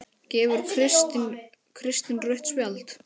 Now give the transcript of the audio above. Gefur Kristinn rautt spjald?